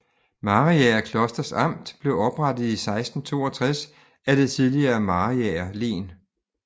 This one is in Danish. Mariager Klosters Amt blev oprettet i 1662 af det tidligere Mariager Len